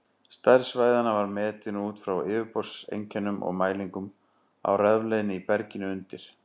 Stærð svæðanna var metin út frá yfirborðseinkennum og mælingum á rafleiðni í berginu undir.